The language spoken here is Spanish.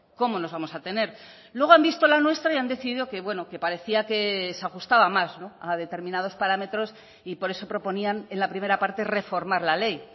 cómo nos vamos a tener luego han visto la nuestra y han decidido que bueno que parecía que se ajustaba más a determinados parámetros y por eso proponían en la primera parte reformar la ley